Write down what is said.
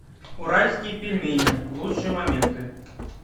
уральские пельмени лучшие моменты